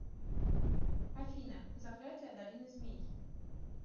афина заклятия долины змей